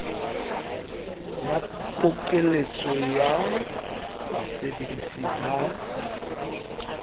ba pokeletso ya basebedisi ba